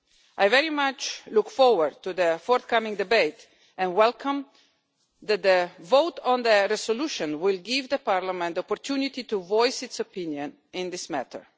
I very much look forward to the forthcoming debate and welcome the vote on the resolution which will give Parliament the opportunity to voice its opinion in this matter.